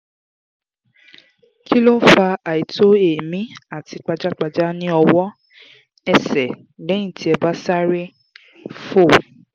kí ló ń fa àìto eemi àti pajapajà ní ọwọ́/ẹsẹ̀ lẹ́yìn tí ẹ bá sáré fò?